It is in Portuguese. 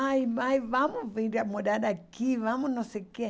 Pai, mãe vamos vir a morar aqui, vamos não sei o quê.